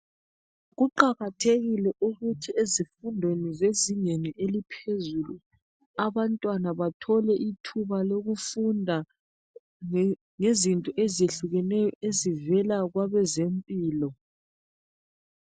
Kuqakathekile ukuthi ezifundweni zezingeni eliphezulu, abantwana bathole ithuba lokufunda ngezinto ezehlukeneyo ezivela kwabezempilo